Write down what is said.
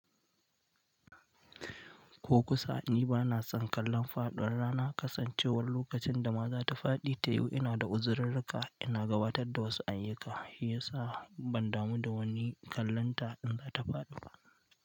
Ko kusa, ni ba na son kallon fadu. Rana kasancewar lokacin da ma za ta faɗi ta yiwu, ina da uzirarka. Ina gabatar da wasu ayyuka, ya sa ban damu da wani kallonta in za ta faɗi ba.